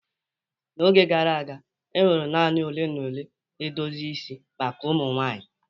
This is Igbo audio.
n'oge gara aga, e nwere naanị ole na ole edozi isi maka ụmụ nwanyị